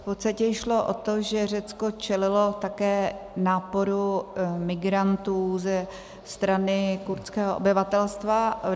V podstatě šlo o to, že Řecko čelilo také náporu migrantů ze strany kurdského obyvatelstva.